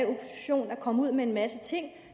komme ud med en masse ting